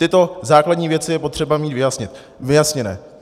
Tyto základní věci je potřeba mít vyjasněné.